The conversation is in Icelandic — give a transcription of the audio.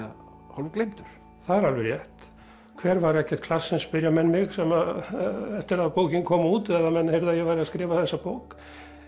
hálf gleymdur það er alveg rétt hver var Eggert Claessen spyrja menn mig eftir að bókin kom út eða menn heyrðu að ég væri að skrifa þessa bók